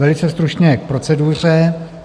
Velice stručně k proceduře: